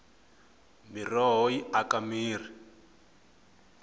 miroho yi aka mirhi